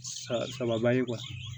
Sa saba ye kuwa